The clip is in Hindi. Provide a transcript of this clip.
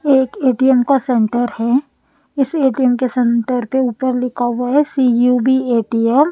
एक ए_टी_एम का सेंटर है इस ए_टी_एम के सेंटर पे ऊपर लिखा हुआ है सी यू_बी ए_टी_एम --